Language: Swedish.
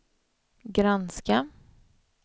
granska